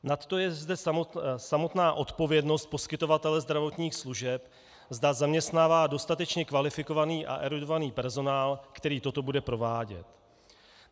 Nadto je zde samotná odpovědnost poskytovatele zdravotních služeb, zda zaměstnává dostatečně kvalifikovaný a erudovaný personál, který toto bude provádět.